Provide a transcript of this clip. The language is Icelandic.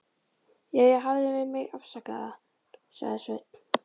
Jæja, hafðu mig afsakaðan, sagði Sveinn.